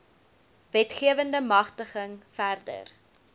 wetgewende magtiging verder